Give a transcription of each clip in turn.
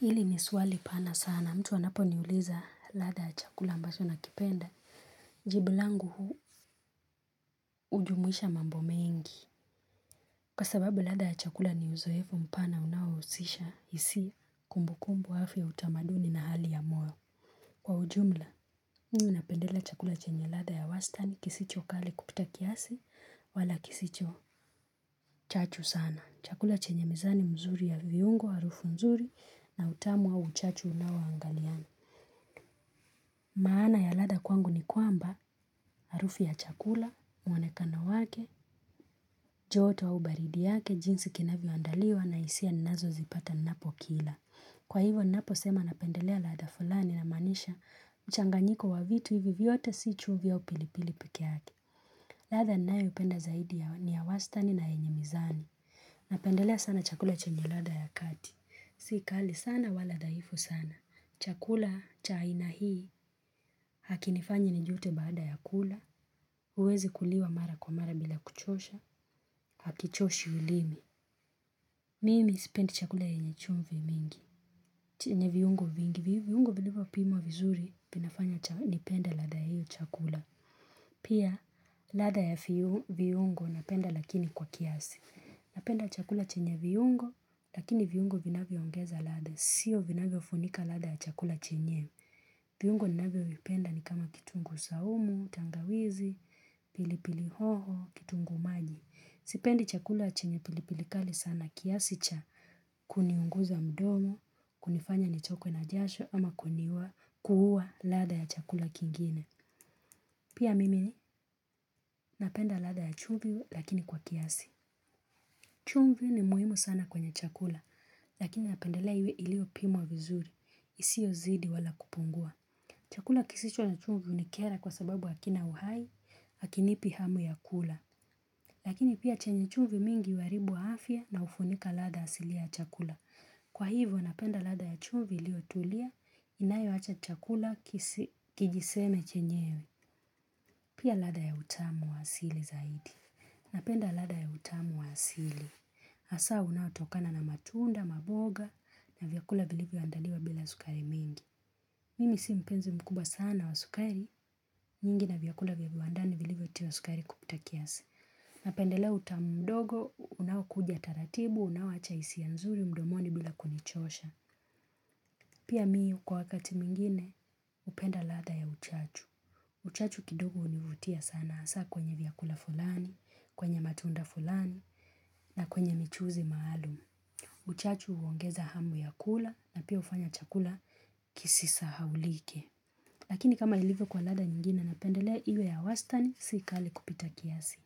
Hili ni swali pana sana. Mtu anaponiuliza ladha ya chakula ambacho nakipenda. Jibu langu huu ujumuisha mambo mengi. Kwa sababu ladha ya chakula ni uzoefo mpana unaouisisha isi kumbukumbu hafi ya utamaduni na hali ya moyo. Kwa ujumla, mm napendela chakula chenye ladha ya wastani kisicho kali kupita kiasi wala kisicho chachu sana. Chakula chenye mizani mzuri ya viungo, harufu mzuri na utamu au uchachu unawoangaliana. Maana ya ladha kwangu ni kwamba, arufu ya chakula, mwonekano wake, joto au ubaridi yake, jinsi kinavyoandaliwa na isia ninazozipata ninapokila. Kwa hivo ninaposema napendelea ladha fulani namaanisha mchanganyiko wa vitu hivi vyote si chumvi au pilipili piki yake. Ladha ninayopenda zaidi ya ni ya wastani na enye mizani. Napendelea sana chakula chenye ladha ya kati. Si kali sana wala dhaifu sana. Chakula cha aina hii hakinifanyi nijute baada ya kula Uwezekuliwa mara kwa mara bila kuchosha Hakichoshi ulimi Mimi sipendi chakula yenye chumvi mingi chenye viungo vingi viungo vilivyopimwa vizuri vinafanya nipende ladha hio chakula Pia lada ya viungo napenda lakini kwa kiasi Napenda chakula chenye viungo Lakini viungo vinavyongeza ladha Sio vinavyofunika ladha ya chakula chenyewe. Viungo ninvyovipenda ni kama kitunguu saumu, tangawizi, pilipili hoho, kitunguu maji. Sipendi chakula chenye pilipili kali sana kiasi cha kuniunguza mdomo, kunifanya nichokwe na jasho ama kuniwa kuuua ladha ya chakula kingine. Pia mimi napenda ladha ya chumvi lakini kwa kiasi. Chumvi ni muhimu sana kwenye chakula lakini napendelea iwe iliopimwa vizuri. Isiozidi wala kupungua. Chakula kisicho na chumvi unikera kwa sababu hakina uhai, hakinipi hamu ya kula. Lakini pia chenye chumvi mingi uaribu afya na ufunika ladha asili ya chakula. Kwa hivyo napenda ladha ya chumvi iliotulia, inayoacha chakula kijiseme chenyewe. Pia ladha ya utamu wa asili zaidi. Napenda lada ya utamu wa asili. Asa unaotokana na matunda, maboga, na vyakula vilivyoandaliwa bila sukari mingi. Mimi si mpenzi mkubwa sana wa sukari, nyingi na vyakula vya viwandani vilivyotiwa sukari kupita kiasi. Napendelea utamu mdogo, unawakuja taratibu, unaowacha isia nzuri mdomoni bila kunichosha. Pia mi kwa wakati mwingine, upenda ladha ya uchachu. Uchachu kidogo univutia sana asa kwenye vyakula fulani, kwenye matunda fulani, na kwenye michuzi maalum. Uchachu uongeza hamu ya kula na pia ufanya chakula kisisahaulike. Lakini kama ilivyo kwa ladha nyingine napendelea iwe ya wasitani si kali kupita kiasi.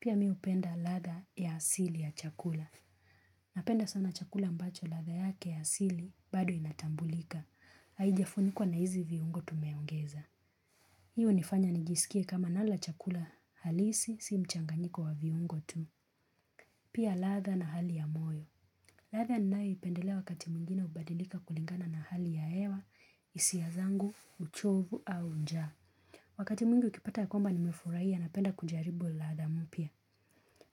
Pia mi upenda ladha ya asili ya chakula. Napenda sana chakula mbacho ladha yake ya asili bado inatambulika. Haijafunikwa na hizi viungo tumeongeza. Hii unifanya nijisikie kama nala chakula halisi si mchanganyiko wa viungo tu. Pia latha na hali ya moyo. Laddha nanayoipendelea wakati mwingine ubadilika kulingana na hali ya hewa isia zangu, uchovu au njaa. Wakati mwingi ukipata ya kwamba nimefurahia napenda kujaribu ladha mpya.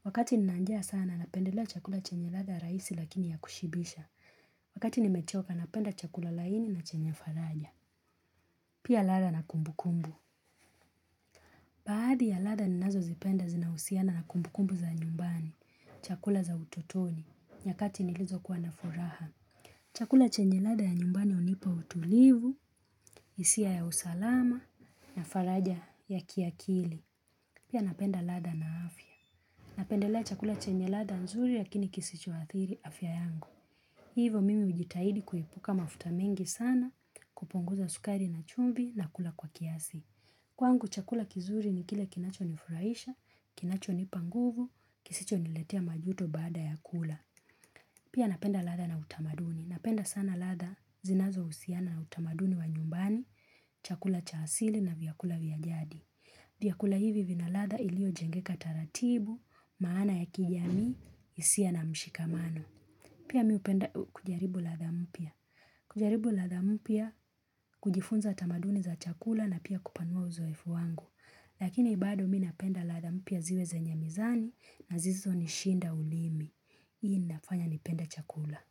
Wakati nina njaa sana napendelea chakula chenye ladha raisi lakini ya kushibisha. Wakati nimechoka napenda chakula laini na chenye faraja. Pia ladha na kumbukumbu. Baadi ya ladha ninazozipenda zinahusiana na kumbukumbu za nyumbani. Chakula za utotoni. Nyakati nilizokuwa na furaha. Chakula chenye lada ya nyumbani unipa utulivu. Isia ya usalama. Na faraja ya kiakili. Pia napenda ladha na afya. Napendelea chakula chenye ladha nzuri ya kisichoadhiri afya yangu. Hivo mimi ujitahidi kuepuka mafuta mengi sana kupunguza sukari na chumvi na kula kwa kiasi. Kwangu chakula kizuri ni kile kinachonifuraisha, kinachonipa nguvu, kisichoniletea majuto baada ya kula. Pia napenda latha na utamaduni. Napenda sana ladha zinazousiana na utamaduni wa nyumbani, chakula cha asili na vyakula vya jadi. Vyakula hivi vina ladha iliojengeka taratibu, maana ya kijamii, isia na mshikamano. Pia mi upenda kujaribu ladha mpya. Kujaribu ladha mpya, kujifunza tamaduni za chakula na pia kupanua uzoefu wangu. Lakini bado mi napenda ladha mpya ziwe zenye mizani na zisizonishinda ulimi. Hii inafanya nipende chakula.